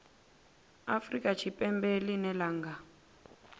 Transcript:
afrika tshipembe ḽine ḽa nga